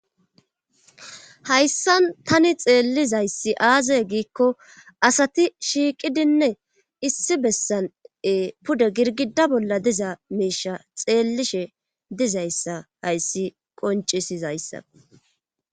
hayssan tani xeellizayssi aazay giikko asati shiiqidinne issi bessane pude girgida bolla diza meisha xeellishe dizayssa hayssi qoncisizayssa